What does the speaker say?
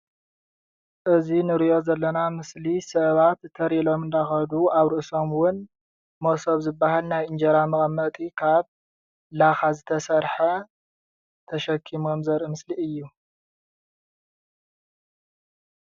እዚ ንሪኦ ዘለና ምስሊ ሰባት ተር ኢሎም እናከዱ ኣብ ርእሶም እውን መሶብ ዝበሃል ናይ ኢንጀራ መቀመጢ ካብ ላካ ዝተሰርሐ ተሸኪሞም ዘርኢ ምስሊ እዩ፡፡